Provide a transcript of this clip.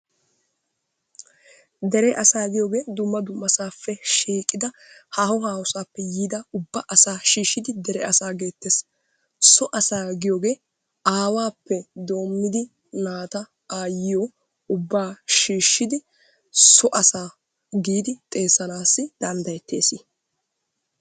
Dere asaa giyoogee dumma dumma saappe shiiqqida haaho haaho sappe yiida ubba asaa shiishshidi dere asaa geettees. So asaa giyoogee awaappe doommidi naata ayyiyoo ubbaa shiishidi so asaa giidi xeessanassi danddayettees.